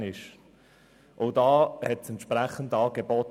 Auch dort fehlte das entsprechende Angebot.